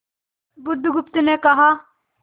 बुधगुप्त ने कहा